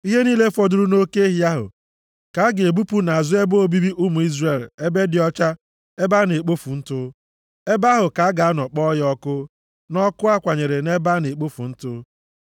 ihe niile fọdụrụ nʼoke ehi ahụ, ka a ga-ebupu nʼazụ ebe obibi ụmụ Izrel, ebe dị ọcha, ebe a na-ekpofu ntụ. Ebe ahụ ka a ga-anọ kpọọ ya ọkụ, nʼọkụ a kwanyere nʼebe a na-ekpofu ntụ.